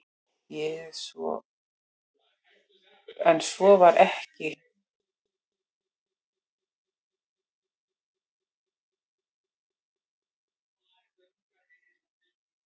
En svo var ekki og gosið sem myndaði Kerið hefur tekið nokkurn tíma.